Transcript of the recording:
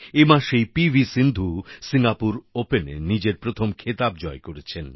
এ মাসেই P V Sindhu Singapore ওপেনে নিজের প্রথম খেতাব জয় করেছেন